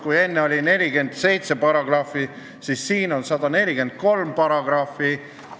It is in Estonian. Kui enne oli seaduses 47 paragrahvi, siis nüüd on siin 143 paragrahvi.